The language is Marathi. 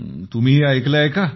तुम्हीही ऐकलं आहे का